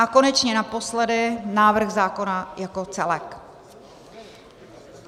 A konečně naposledy návrh zákona jako celek.